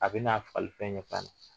A bɛn'a fali fɛn ɲɛ tan